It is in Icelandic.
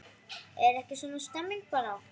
Er ekki svona stemning bara?